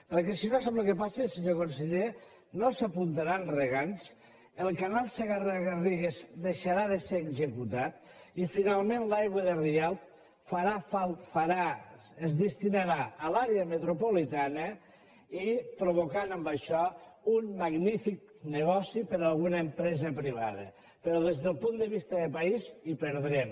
perquè si no sap el que passa senyor conseller no s’apuntaran regants el canal segarra garrigues deixarà de ser executat i finalment l’aigua de rialb es destinarà a l’àrea metropolitana provocant amb això un magnífic negoci per a alguna empresa privada però des del punt de vista de país hi perdrem